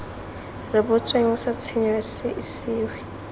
rebotsweng sa tshenyo se isiwe